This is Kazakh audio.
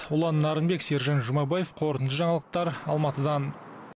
ұлан нарынбек сержан жұмабаев қорытынды жаңалықтар алматыдан